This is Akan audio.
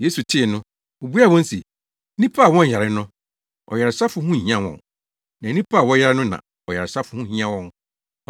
Yesu tee no, obuaa wɔn se, “Nnipa a wɔnyare no, ɔyaresafo ho nhia wɔn, na nnipa a wɔyare no na ɔyaresafo ho hia wɔn.”